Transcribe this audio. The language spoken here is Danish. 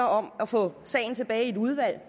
om at få sagen tilbage i et udvalg